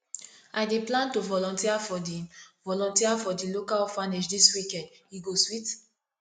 i dey plan to volunteer for di volunteer for di local orphanage this weekend e go sweet